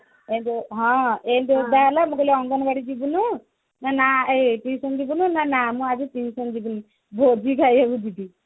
ଏଇ ଯୋଉ ଓଦା ହେଲା ମୁଁ କହିଲି ମୁଁ କହିଲି ଅଙ୍ଗନବାଡି ଯିବୁନୁ ନା ନା ଏଇ tuition ଯିବୁନୁ ନା ନା ମୁଁ ଆଜି tuition ଯିବିନି ଭୋଜି ଖାଇବାକୁ ଯିବି